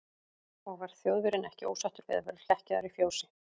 Og var Þjóðverjinn ekki ósáttur við að vera hlekkjaður í fjósi?